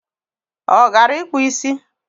O gara ikpu isi?